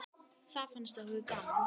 Það fannst okkur gaman.